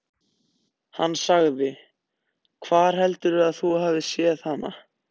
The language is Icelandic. Hann sagði: Hvar heldurðu að þú hafir séð hana?